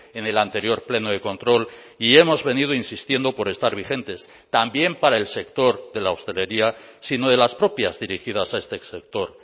en el anterior pleno de control y hemos venido insistiendo por estar vigentes también para el sector de la hostelería sino de las propias dirigidas a este sector